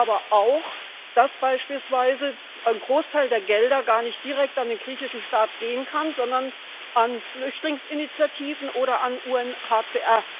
Wir wissen aber auch, dass beispielsweise ein Großteil der Gelder gar nicht direkt an den griechischen Staat gehen kann, sondern an Flüchtlingsinitiativen oder an das UNHCR.